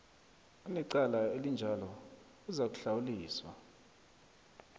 anecala elinjalo uzakuhlawuliswa